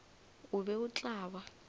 o be o tla ba